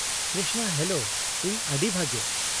-Krishna, hello. ᱤᱧ ᱟᱹᱰᱤ ᱵᱷᱟᱜᱮ ᱾